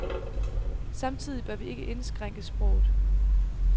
Samtidig bør vi ikke indskrænke sproget.